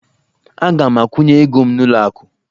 Aga m akwụnye ego m n'ụlọ akụ